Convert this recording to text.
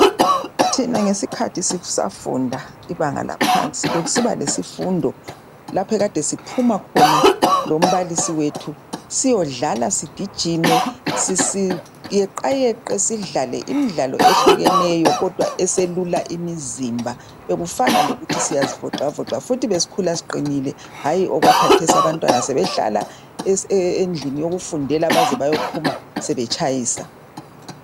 thina ngesikhathi sisafunda ibanga laphansi bekusiba lesifundo lapho akade siphuma khona lombalisi wethu siyodlala sigijime siyeqayeqe sidlale imdlalo ehlukeneyo kodwa eselula imizimba kufana lokuthi siyazivoxavoxa futhi sikhula besiqinile hayi okwakhathesi abantwana sebehlala endlini yokufundela baze bayophuma sebetshayisa